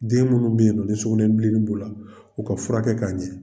Den minnu bɛ yen nɔ ni sugunɛbilenni b'u la, u ka furakɛ k'a ɲɛ.